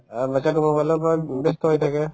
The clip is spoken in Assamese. অ, batches তো mobile ৰ ওপৰত ব্যস্ত হৈ থাকে